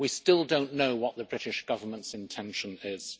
We still do not know what the British Government's intention is.